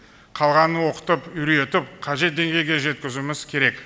қалғанын оқытып үйретіп қажет деңгейге жеткізуіміз керек